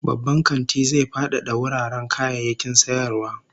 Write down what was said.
Babban kantin zai fadada wuraren kayayyakin sayarwa